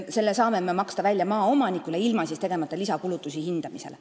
Selle me saame maksta maaomanikule välja ilma hindamisele lisakulutusi tegemata.